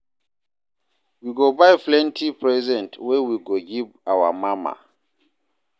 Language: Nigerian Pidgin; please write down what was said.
We go buy plenty present wey we go give our mama.